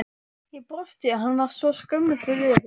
Ég brosti, hann var svo skömmustulegur.